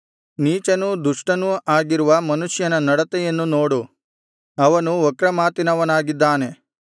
ನೀಚನೂ ದುಷ್ಟನೂ ಆಗಿರುವ ಮನುಷ್ಯನ ನಡತೆಯನ್ನು ನೋಡು ಅವನು ವಕ್ರ ಮಾತಿನವನಾಗಿದ್ದಾನೆ